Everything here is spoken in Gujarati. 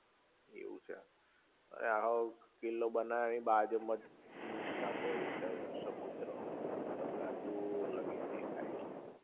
એવું છે આવો હાવ કિલ્લો બનાવ્યો એની બાજુમાં જ આખો એ છે સમુદ્ર તમને દૂર લગીન દેખાઈ એવું છે